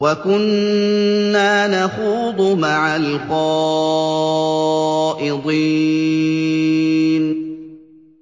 وَكُنَّا نَخُوضُ مَعَ الْخَائِضِينَ